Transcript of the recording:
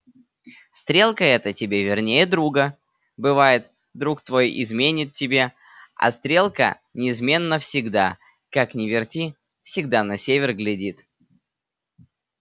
стрелка эта тебе верней друга бывает друг твой изменит тебе а стрелка неизменно всегда как не верти всегда на север глядит